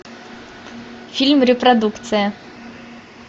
фильм репродукция